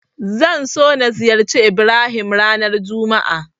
Zan so na ziyarci Ibrahim ranar juma'a.